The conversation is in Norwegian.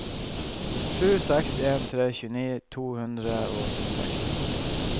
sju seks en tre tjueni to hundre og syttiseks